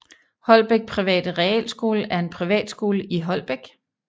Holbæk Private Realskole er en privatskole i Holbæk